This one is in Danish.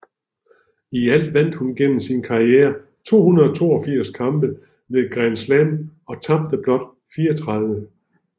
I alt vandt hun gennem sin karriere 282 kampe ved Grand Slam og tabte blot 34